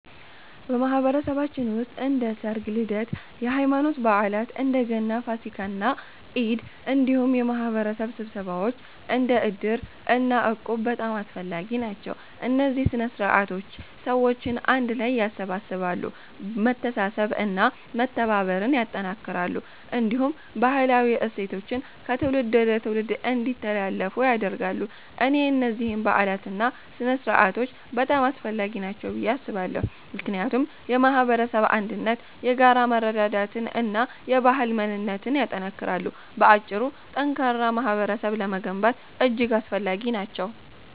በማህበረሰባችን ውስጥ እንደ ሠርግ፣ ልደት፣ የሃይማኖት በዓላት (እንደ ገና፣ ፋሲካ እና ኢድ)፣ እንዲሁም የማህበረሰብ ስብሰባዎች እንደ እድር እና እቁብ በጣም አስፈላጊ ናቸው። እነዚህ ሥነ ሥርዓቶች ሰዎችን አንድ ላይ ያሰባስባሉ፣ መተሳሰብን እና መተባበርን ያጠናክራሉ፣ እንዲሁም ባህላዊ እሴቶችን ከትውልድ ወደ ትውልድ እንዲተላለፉ ያደርጋሉ። እኔ እነዚህን በዓላትና ሥነ ሥርዓቶች በጣም አስፈላጊ ናቸው ብዬ አስባለሁ፣ ምክንያቱም የማህበረሰብ አንድነትን፣ የጋራ መረዳዳትን እና የባህል ማንነትን ያጠናክራሉ። በአጭሩ፣ ጠንካራ ማህበረሰብ ለመገንባት እጅግ አስፈላጊ ናቸው።